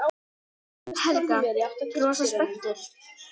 Helga: Rosa spenntur?